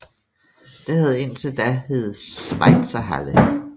Det havde indtil da heddet Schweizerhalle